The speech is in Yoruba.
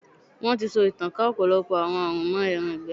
Wọ́n ti so ìtànká ọ̀pọ̀lọpọ̀ àwọn àrùn mọ́ ẹran ìgbẹ́.